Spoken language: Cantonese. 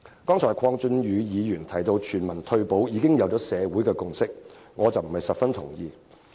剛才鄺俊宇議員提到，社會對全民退保已有共識，我並不十分同意。